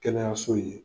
Kɛnɛyaso ye